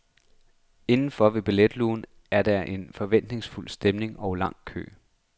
Indenfor ved billetlugen er der en forventningsfuld stemning og en lang kø.